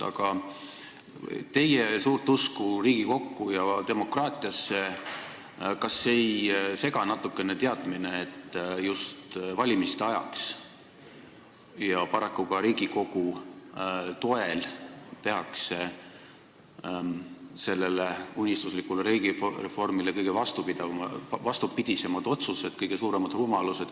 Aga kas teie suurt usku Riigikogusse ja demokraatiasse ei sega natukene teadmine, et just valimiste ajaks ja paraku ka Riigikogu toel tehakse sellele unistuslikule riigireformile kõige vastupidisemaid otsuseid ja kõige suuremaid rumalusi?